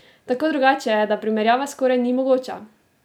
Tako drugače je, da primerjava skoraj ni mogoča!